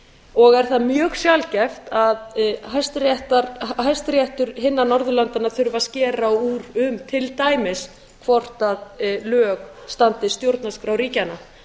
og er það mjög sjaldgæft að hæstiréttur hinna norðurlandanna þurfi að skera úr um til dæmis hvort lög standist stjórnarskrá ríkjanna